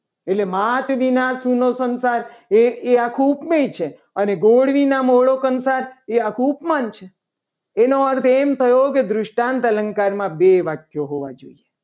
એટલે માત વિના સુનો સંસાર એ આખું ઉપમેય છે. મળી છે. અને ગુવદ વિના મોળો કંસાર એ ઉપમાન છે. એનો આ એમ થયો કે દૃષ્ટાંત અલંકાર માં બે વાક્યો હોવા જોઈએ.